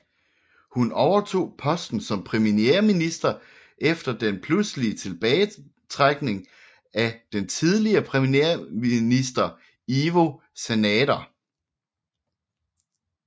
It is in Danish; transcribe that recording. Hun overtog posten som premierminister efter den pludselige tilbagetrækning af den tidligere premierminister Ivo Sanader